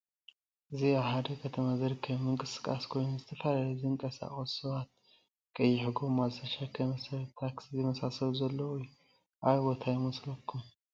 እዚ አብ ሐደ ከተማ ዝርከብ ምንቅስቃስ ኮይኑ ዝተፈላለዩ ዝንቃሳቀሱ ሰባት፣ ቀይሕ ጎማ ዝተሸከመ ሰብ፣ ታክሲ፣ ዝመሳሰሉ ዘለዎ እዩ። አበይ ቦታ ይመስለኩም?